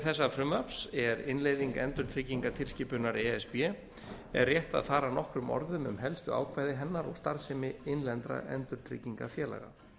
þessa frumvarps er innleiðing endurtryggingatilskipunar e s b er rétt að fara nokkrum orðum um helstu ákvæði hennar og starfsemi innlendra endurtryggingafélaga